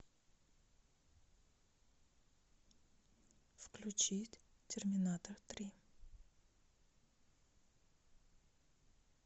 включить терминатор три